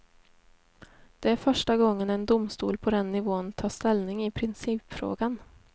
Det är första gången en domstol på den nivån tar ställning i principfrågan.